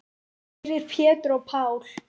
Fyrir Pétur og Pál.